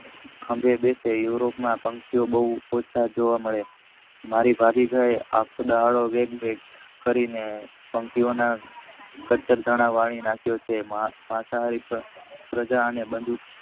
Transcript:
ખંભે બેસે યુરોપ ના પક્ષીઓ બવ ઓછા જોવા મળે છે મારી ભાભી કહે આખો દડો વાત જોઈએ પક્ષીઓ ના કચર દાન વળી કહ્યોંપીઓ છે